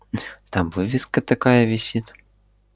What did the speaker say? там вывеска такая висит